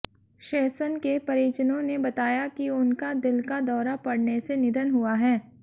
शेषन के परिजनों ने बताया कि उनका दिल का दौरा पड़ने से निधन हुआ है